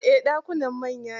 Eh, ɗakunan manya ne.